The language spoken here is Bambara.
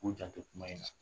K'u janto kuma in na